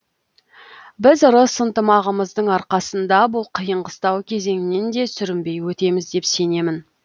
біз ырыс ынтымағымыздың арқасында бұл қиын қыстау кезеңнен де сүрінбей өтеміз деп сенемін